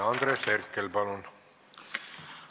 Andres Herkel, palun!